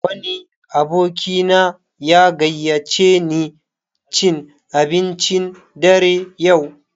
Wani abokina ya gayyace ni cin abincin dare yau.